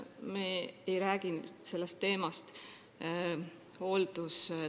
Me ei räägi sellest teemast hooldustasemekeskselt.